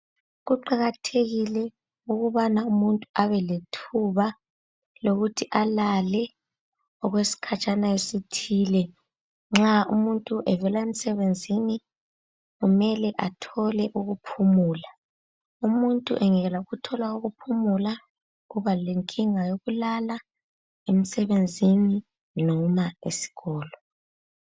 Kuqakathekile ukubana umuntu abelethuba lokuthi alale okwesikhatshana esithile. Nxa umuntu evela emsebenzini kumele athole ukuphumula. Umuntu engekela ukuthola ukuphumula kuba lenkinga yokulala emsebenzini noma esikolo.